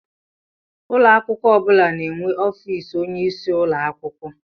Ụlọ akwụkwọ ọ bụla na-enwe ọfịs onyeisi ụlọ akwụkwọ.